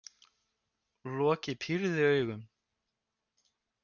Loki pírði augun.